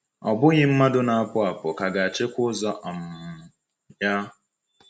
“Ọ bụghị mmadụ na-apụ apụ ka ga-achịkwa ụzọ um ya.”